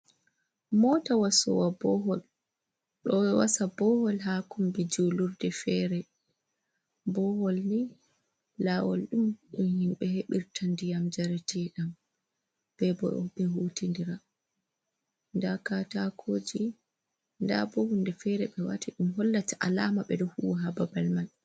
Mota wasowa bohol ɗo wasa bohol ha kombi julurde fere. Boholni lawol ɗum ɗum himɓe heɓata ndiyam njareteɗam, ɓe bo ɓe hutidira. Nda katako je nda bo hunde fere be wati nɗum hollata alama ɓeɗo huwa ha ba babal man.